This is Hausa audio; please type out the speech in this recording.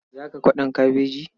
Za ka kwaɗon kabeji?